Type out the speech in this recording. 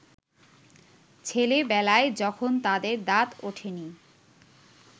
ছেলেবেলায় যখন তাদের দাঁত ওঠেনি